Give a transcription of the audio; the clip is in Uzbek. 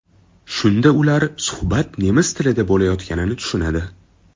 Shunda ular suhbat nemis tilida bo‘layotganini tushunadi.